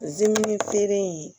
Zimini feere in